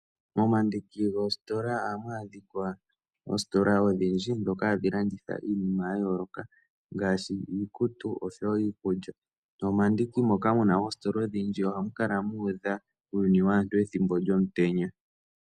Momandiki goositola ohamu adhika oositola odhindji ndhoka hadhi landitha iinima ya yooloka ngaashi iikutu osho wo iikulya. Nomomandiki moka mu na oositola odhindji ohamu kala mu udha uuyuni waantu ethimbo lyomutenya.